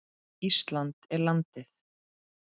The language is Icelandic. Ísland er landið.